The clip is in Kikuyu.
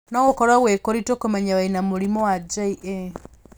No gũkorwo gwĩ kũritũ kũmenya wĩna mũrimũ wa JA.